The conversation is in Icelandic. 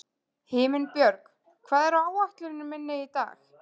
Himinbjörg, hvað er á áætluninni minni í dag?